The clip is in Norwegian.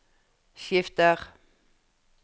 skifter